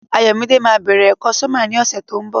Ayọ̀mídé ma bẹ̀rẹ̀ ẹ̀kọ́ sọ́mà ní ọ̀sẹ̀ tó ń bọ̀.